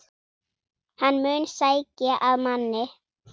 Hann mun sækja að manni.